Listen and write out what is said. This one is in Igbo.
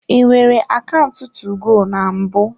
I nwere akaụntụ 2go na mbụ?